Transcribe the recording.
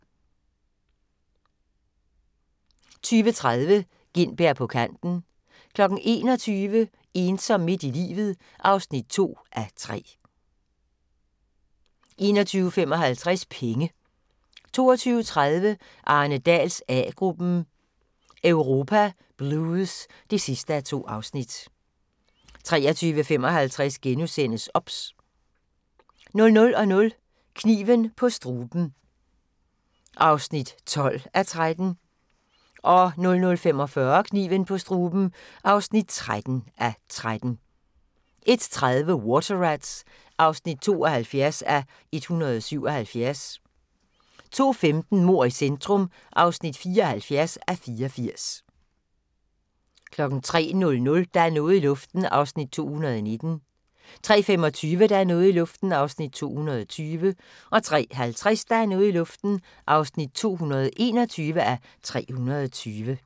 21:55: Penge 22:30: Arne Dahls A-gruppen: Europa Blues (2:2) 23:55: OBS * 00:00: Kniven på struben (12:13) 00:45: Kniven på struben (13:13) 01:30: Water Rats (72:177) 02:15: Mord i centrum (74:84) 03:00: Der er noget i luften (219:320) 03:25: Der er noget i luften (220:320) 03:50: Der er noget i luften (221:320)